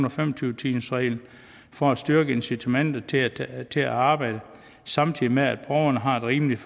og fem og tyve timersreglen for at styrke incitamentet til at til at arbejde samtidig med at borgerne har et rimeligt